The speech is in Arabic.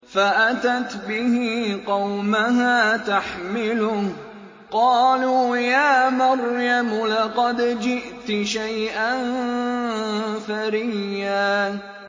فَأَتَتْ بِهِ قَوْمَهَا تَحْمِلُهُ ۖ قَالُوا يَا مَرْيَمُ لَقَدْ جِئْتِ شَيْئًا فَرِيًّا